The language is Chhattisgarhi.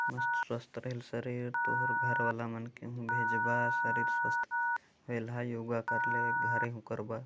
मस्त स्वस्थ रेहएल शरीर तोर हर घर वाला मन के भेज बार शरीर स्वस्थ होलहा योगा करले घरे ह ओकर बर।